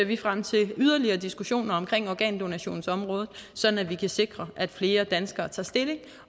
vi frem til yderligere diskussioner om organdonationsområdet sådan at vi kan sikre at flere danskere tager stilling